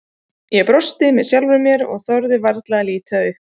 Ég brosti með sjálfri mér og þorði varla að líta upp.